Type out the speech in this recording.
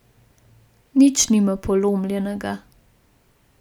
Nič nima polomljenega.